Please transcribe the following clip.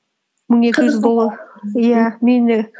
мың екі жүз доллар иә мені